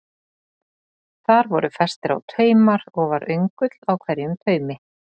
Þar voru festir á taumar og var öngull á hverjum taumi.